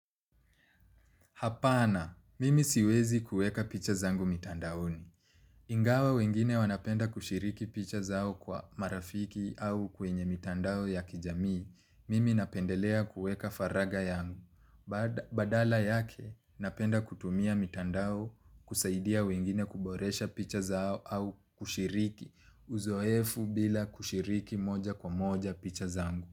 Hapana, mimi siwezi kueka picha zangu mitandaoni. Ingawa wengine wanapenda kushiriki picha zao kwa marafiki au kwenye mitandao ya kijamii, mimi napendelea kuweka faraga yangu. Badala yake, napenda kutumia mitandao kusaidia wengine kuboresha picha zao au kushiriki, uzoefu bila kushiriki moja kwa moja picha zangu.